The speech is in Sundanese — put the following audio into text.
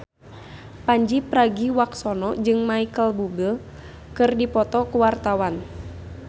Pandji Pragiwaksono jeung Micheal Bubble keur dipoto ku wartawan